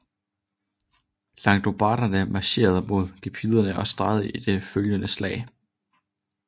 Langobarderne marcherede mod gepiderne og sejrede i de følgende slag